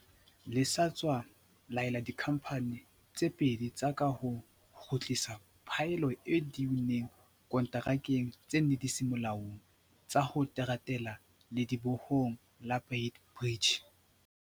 le sa tswa laela dikhamphane tse pedi tsa kaho ho kgutlisa phaello eo di e unneng konterakeng tse neng di se molaong tsa ho teratela ledibohong la Beit Bridge.